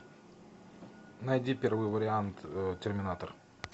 найди первый вариант терминатор